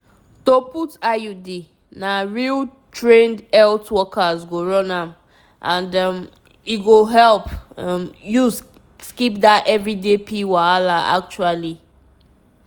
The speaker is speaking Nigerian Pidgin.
once you choose iud you no need worry need worry again e free your mind to face better things true true.